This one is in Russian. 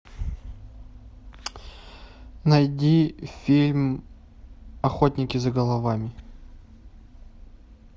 найди фильм охотники за головами